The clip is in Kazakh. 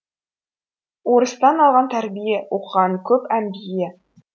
орыстан алған тәрбие оқығаны көп әмбие